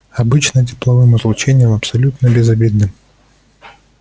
обычным тепловым излучением абсолютно безобидным